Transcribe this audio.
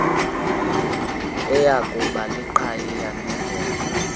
eyakuba liqhayiya nebhongo